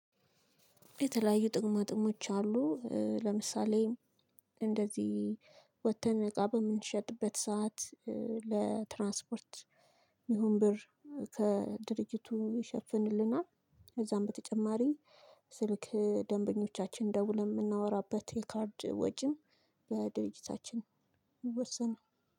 የተለያዩ ጥቅማጥቅሞች አሉ። ለምሳሌ እንደዚህ ወጥተን እቃ በምንሸጥበት ሰዓት ለትራንስፖርት የሚሆን ብር ከድርጅቱ ይሸፍንልናል። ከዛም በተጨማሪ ስልክ ደንበኞቻችን ደውለን የምናወራበት የካርድ ወጪን በድርጅታችን ይወሰናል።